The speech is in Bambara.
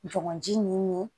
Jɔgɔnji nin